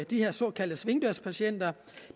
de her såkaldte svingdørspatienter